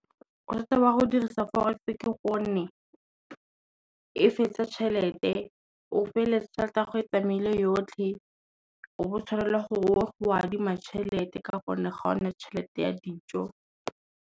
Ba go dirisa forex ke gonne, e fetsa tšhelete. O feleletsa tšhelete ya go e tsamaile yotlhe, o bo tshwanela gore o go a adima tšhelete ka gonne ga o nne tšhelete ya dijo.